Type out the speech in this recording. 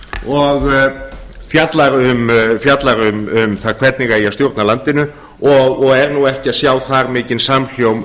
og fjallar um það hvernig eigi að stjórna landinu og er nú ekki að sjá þar mikinn samhljóm